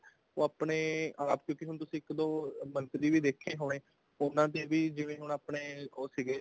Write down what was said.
ਉਹ ਆਪਣੇ ਆਪ ਕਿਉਂਕਿ ਤੁਸੀਂ ਇੱਕ ਦੋ ਮੰਤਰੀ ਵੀ ਦੇਖੇ ਹੋਣੇ ਉਹਨਾ ਦੇ ਵੀ ਜਿਵੇਂ ਹੁਣ ਆਪਣੇ ਉਹ ਸੀਗੇ